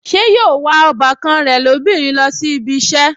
Ṣé yóò wa ọbàkan rẹ̀ lóbìnrin lọ sí ibi ìṣẹ́